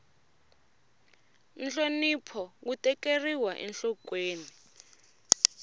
nhlonipho wu tekeriwa enhlokweni